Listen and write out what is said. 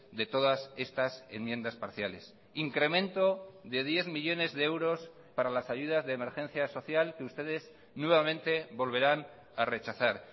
de todas estas enmiendas parciales incremento de diez millónes de euros para las ayudas de emergencia social que ustedes nuevamente volverán a rechazar